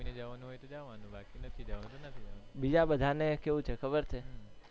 બીજા બધા ને કેવું છે ખબર છે